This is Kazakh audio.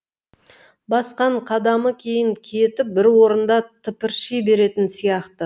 басқан қадамы кейін кетіп бір орында тыпырши беретін сияқты